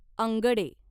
अंगडे